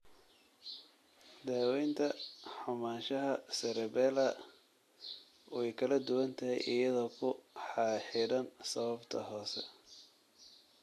Daawaynta xumaanshaha cerebellar way kala duwan tahay iyadoo ku xidhan sababta hoose.